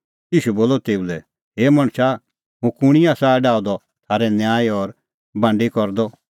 ईशू बोलअ तेऊ लै हे मणछा हुंह कुंणी आसा डाहअ द थारै न्यायी और बांडी करदअ